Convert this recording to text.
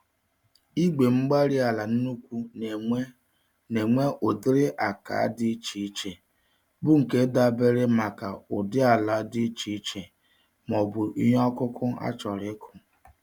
Igwe-mgbárí-ala nnukwu n'enwe n'enwe ụdịrị àkà dị iche iche, bu nke dabara maka ụdị ala dị iche iche, m'ọbụ ihe okụkụ achọrọ ịkụ